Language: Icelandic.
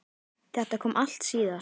Þetta kom allt síðar.